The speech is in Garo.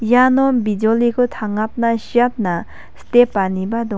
iano bijoliko tangatna siatna sikdepaniba donga--